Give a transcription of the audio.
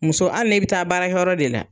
Muso hali ni bi taa baara de la